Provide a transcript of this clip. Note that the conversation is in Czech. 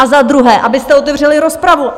A za druhé, abyste otevřeli rozpravu!